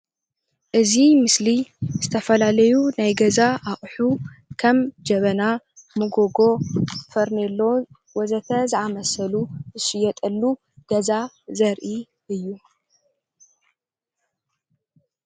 እዚ ምስሊ ዝተፈላለዩ ናይ ገዛ አቁሑ ከም ጀበና፣ መጎጎ ፈርኒሎ ወዘተ ዝአመሰሉ ዝሽየጠሉ ገዛ ዘሪኢ እዩ፡፡